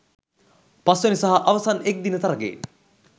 පස්වැනි සහ අවසන් එක්දින තරඟයෙන්